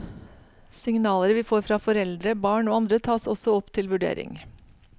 Signaler vi får fra foreldre, barn og andre tas også opp til vurdering.